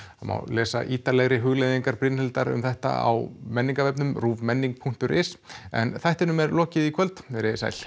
það má lesa ítarlegri hugleiðingar Brynhildar um þetta á menningarvefnum ruvmenning punktur is en þættinum er lokið í kvöld verið þið sæl